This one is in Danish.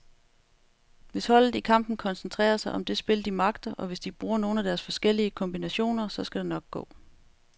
Hvis holdet i kampen koncentrerer sig om det spil, de magter, og hvis de bruger nogle af deres forskellige kombinationer, så skal det nok gå.